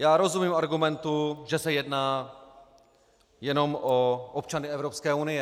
Já rozumím argumentu, že se jedná jenom o občany Evropské unie.